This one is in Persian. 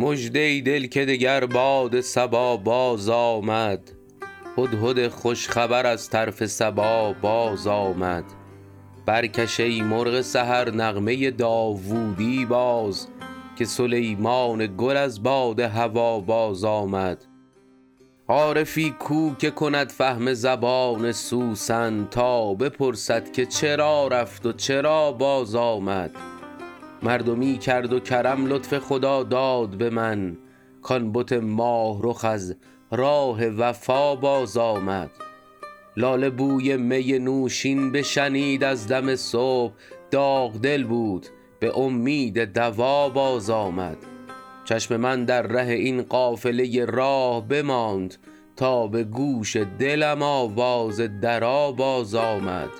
مژده ای دل که دگر باد صبا بازآمد هدهد خوش خبر از طرف سبا بازآمد برکش ای مرغ سحر نغمه داوودی باز که سلیمان گل از باد هوا بازآمد عارفی کو که کند فهم زبان سوسن تا بپرسد که چرا رفت و چرا بازآمد مردمی کرد و کرم لطف خداداد به من کـ آن بت ماه رخ از راه وفا بازآمد لاله بوی می نوشین بشنید از دم صبح داغ دل بود به امید دوا بازآمد چشم من در ره این قافله راه بماند تا به گوش دلم آواز درا بازآمد